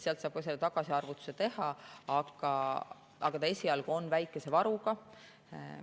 Sealt saab tagasiarvutuse teha, aga esialgu on see väikese varuga.